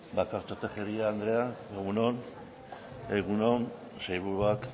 bakartxo tejeria andrea egun on egun on sailburuak